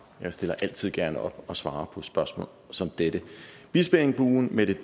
jeg stiller altid gerne op og svarer på spørgsmål som dette bispeengbuen med det